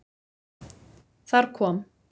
Þar kom.